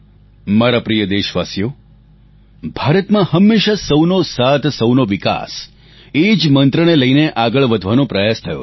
મારા પ્રિય દેશવાસીઓ ભારતમાં હંમેશા સહુનો સાથ સહુનો વિકાસ એ જ મંત્રને લઈને આગળ વધવાનો પ્રયાસ થયો છે